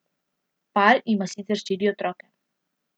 Par ima sicer štiri otroke.